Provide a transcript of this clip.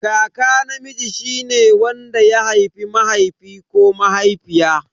Kaka namiji shine wanda ya haifi mahaifi ko mahaifiya.